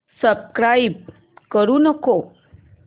subscribe करू नको